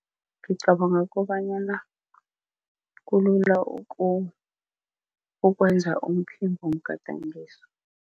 Ngicabanga kobanyana kulula ukwenza umphimbomgadangiso.